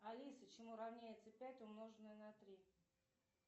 алиса чему равняется пять умноженное на три